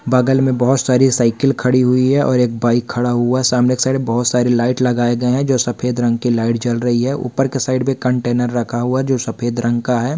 बगल में बहुत सारी साइकिल खड़ी हुई है और एक बाईक खड़ा हुआ है सामने के साईड बहुत सारे लाईट लगाए गए हैं जो सफ़ेद रंग के लाईट जल रही है ऊपर के साईड में कंटेनर रखा हुआ है जो सफ़ेद रंग का है।